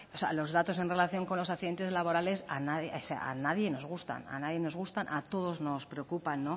que los datos en relación con los accidentes laborales a nadie o sea a nadie nos gusta a nadie nos gustan a todos nos preocupan